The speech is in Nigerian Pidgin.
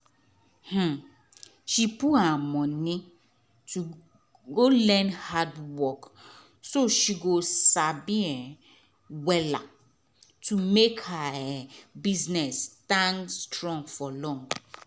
um she put her money to go learn handworkso she go sabi um wella to make her um business stand strong for long.